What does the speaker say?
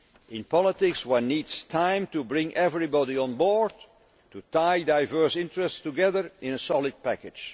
credible. In politics one needs time to bring everybody on board and tie diverse interests together in a solid